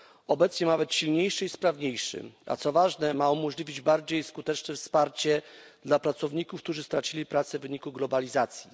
obecnie ma być silniejszy i sprawniejszy, a co ważne ma umożliwić bardziej skuteczne wsparcie dla pracowników, którzy stracili pracę w wyniku globalizacji.